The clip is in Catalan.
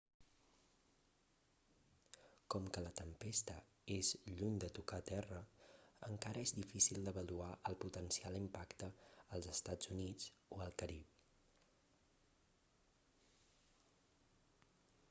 com que la tempesta és lluny de tocar terra encara és difícil d'avaluar el potencial impacte als estats units o al carib